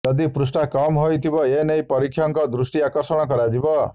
ଯଦି ପୃଷ୍ଠା କମ୍ ରହିଥିବ ଏନେଇ ପରୀକ୍ଷକଙ୍କ ଦୃଷ୍ଟି ଆକର୍ଷଣ କରାଯିବ